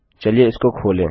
चलिए इसको खोलें